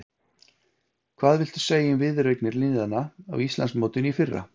Hvað viltu segja um viðureignir liðanna á Íslandsmótinu í fyrra?